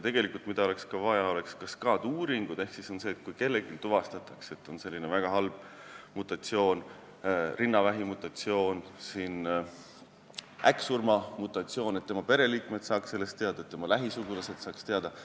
Veel oleks vaja teha kaskaad-uuringud ehk et kui kellelgi tuvastatakse mingi väga halb mutatsioon, näiteks rinnavähi mutatsioon, äkksurma mutatsioon, siis tema pereliikmed ja lähisugulased saaksid sellest teada.